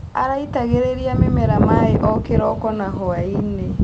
Araitagĩrĩria mĩmera maĩ o kĩroko na hwainĩ.